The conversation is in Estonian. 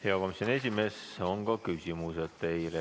Hea komisjoni esimees, teile on ka küsimusi.